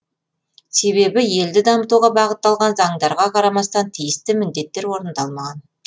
себебі елді дамытуға бағытталған заңдарға қарамастан тиісті міндеттер орындалмаған